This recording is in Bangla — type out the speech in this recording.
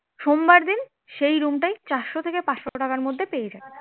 সোমবার দিন সেই রুমটাই চারশ থেকে পাঁচশ টাকার মধ্যে পেয়ে যাবেন